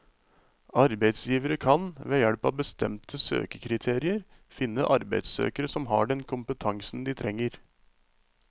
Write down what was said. Arbeisgivere kan, ved hjelp av bestemte søkekriterier, finne arbeidssøkere som har den kompetansen de trenger.